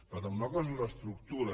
per tant una cosa és l’estructura